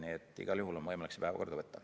Nii et igal juhul on võimalik see päevakorda võtta.